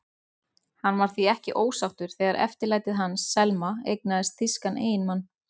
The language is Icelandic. Hann var því ekki ósáttur þegar eftirlætið hans, Selma, eignaðist þýskan eiginmann.